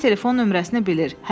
Hər kəs telefon nömrəsini bilir.